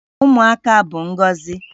Ụmụaka bụ ngọzi